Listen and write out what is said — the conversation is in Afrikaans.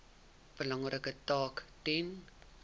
belangrike taak ten